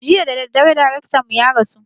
Jiya dadadare darektan mu ya rasu